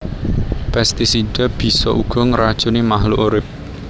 Pestisida bisa uga ngracuni makhluk urip